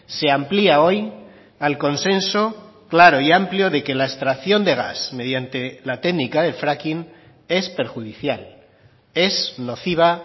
se amplía hoy al consenso claro y amplio de que la extracción de gas mediante la técnica del fracking es perjudicial es nociva